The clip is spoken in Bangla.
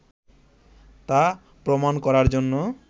তা প্রমাণ করার জন্য